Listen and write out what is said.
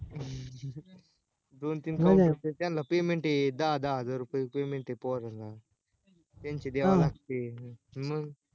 अं दोन तीन counter त्यांला payment आहेत दहा दहा हजर रुपये payment आहे पोरांना त्यांचे द्यावे लागते मंग?